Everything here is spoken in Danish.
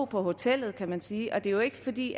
på hotellet kan man sige og det er ikke fordi